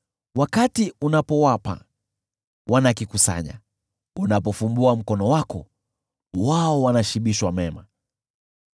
Wakati unapowapa, wanakikusanya, unapofumbua mkono wako, wao wanashibishwa mema.